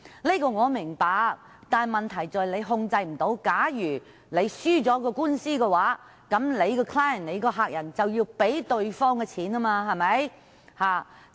這點我明白，但問題在於他們無法控制如果輸掉官司的話，其客人便要支付對方的訴訟費用。